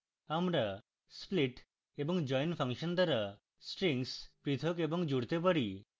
আমরা split এবং join function দ্বারা strings পৃথক এবং জুড়তে পারি